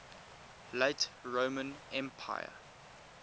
late roman empire